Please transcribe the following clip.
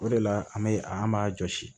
O de la an bɛ an b'a jɔsi